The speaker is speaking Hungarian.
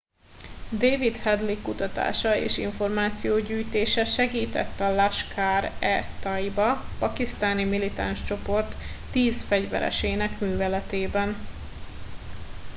david headley kutatása és információgyűjtése segített a laskhar e taiba pakisztáni militáns csoport 10 fegyveresének műveletében